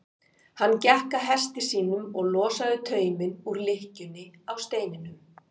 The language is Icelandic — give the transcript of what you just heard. Hann gekk að hesti sínum og losaði tauminn úr lykkjunni á steininum.